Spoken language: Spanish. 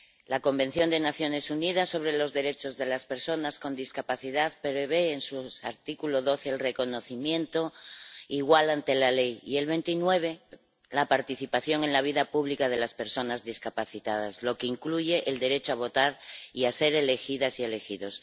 La Convención de las Naciones Unidas sobre los derechos de las personas con discapacidad prevé, en su artículo 12, el reconocimiento igual ante la ley y, en el 29, la participación en la vida pública de las personas discapacitadas, lo que incluye el derecho a votar y a ser elegidas y elegidos.